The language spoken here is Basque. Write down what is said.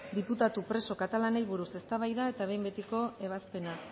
diputatu preso katalanei buruz eztabaida eta behin betiko ebazpena